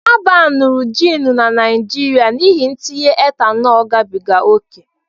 A baanuru jiin na Naịjirịa n'ihi ntinye etanol gabiga ókè